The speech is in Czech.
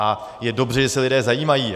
A je dobře, že se lidé zajímají.